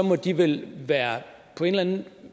må de vel på en eller anden